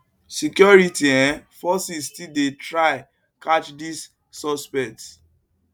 security um forces still dey try catch di suspects